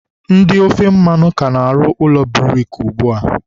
ndị ofe mmanụ ka na-arụ ụlọ buriki ugbua.